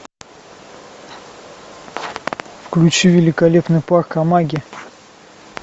включи великолепный парк амаги